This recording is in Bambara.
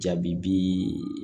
Jaabi bi